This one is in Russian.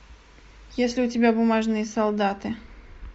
есть ли у тебя бумажные солдаты